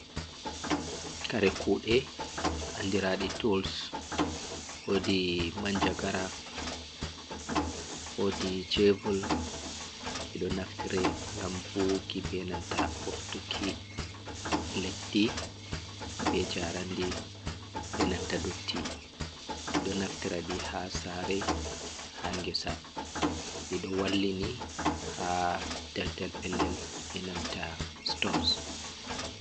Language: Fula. Kare kude andirade tools , wodi manjagara wodi shovel , ɗiɗo naftire gam buwiki benanta ɓoftukki leddi be jarandi enanta dotti ɗo naftiraɗi ha sare ha ngesa ɗiɗo wallini ha daldal pellel benanta stones.